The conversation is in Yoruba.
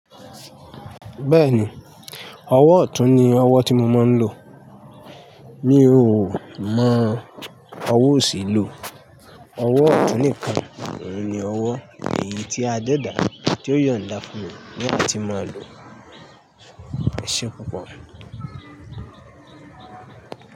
Bẹ́ẹ̀ni, ọwọ́ ọ̀tún ni ọwọ́ tí mo máa ń lò. Mi ò mọ ọwọ́ òsì lò. Ọwọ́ ọ̀tún nìkan ni ọwọ́ èyí tí a dẹ́dà á tí ó yọ̀n dá fún mi ní a tí ma lò ẹ̀ṣe púpọ̀